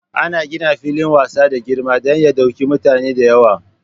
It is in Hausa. Ana gina filin wasa da girma dan ya ɗauki mutane da yawa.